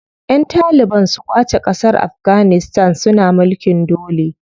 Ƴan taliban su ƙwace ƙasar Afganistan suna mulkin dole.